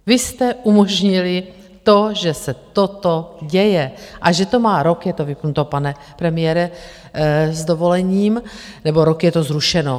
Vy jste umožnili to, že se toto děje a že to má - rok je to vypnuto, pane premiére, s dovolením, nebo rok je to zrušeno.